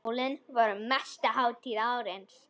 Jólin voru mesta hátíð ársins.